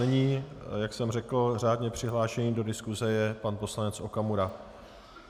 Nyní, jak jsem řekl, řádně přihlášený do diskuse je pan poslanec Okamura.